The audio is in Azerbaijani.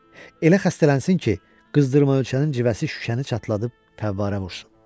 Elə xəstələnsin ki, qızdırma ölçənin civəsi şüşəni çatladıb fəvvarə vursun.